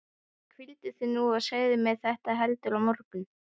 Hvíldu þig nú og segðu mér þetta heldur á morgun.